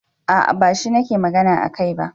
A'a bashi nake magana akai ba.